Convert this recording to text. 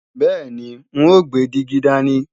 Bẹ́ẹ̀ni, n ó gbé dígí dání